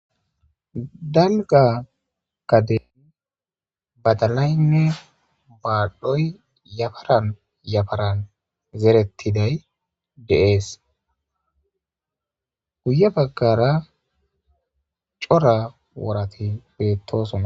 Dalga gadeyn badalaynne baadhdhoy yafaran yafaran zerettiday deees guye baggara cora worati beettosonna.